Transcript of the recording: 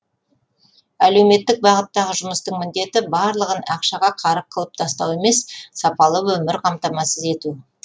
әлеуметтік бағыттағы жұмыстың міндеті барлығын ақшаға қарық қылып тастау емес сапалы өмірді қамтамасыз ету